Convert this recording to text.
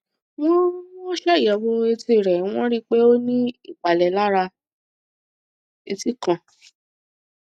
wọn wọn ṣàyẹwò etí rẹ wọn rí i pé ó ní ìpalẹ lára etí kan